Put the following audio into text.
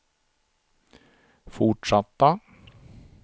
fortsatta